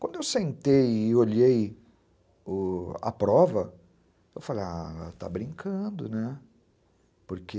Quando eu sentei e olhei o... a prova, eu falei, está brincando, porque...